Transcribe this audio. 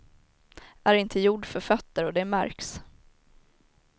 Är inte gjord för fötter och det märks.